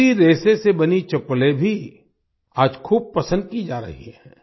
इसी रेशे से बनी चप्पलें भी आज खूब पसंद की जा रही हैं